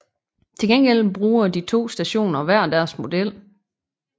Til gengæld bruger de to stationer hver deres model